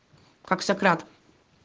как сократ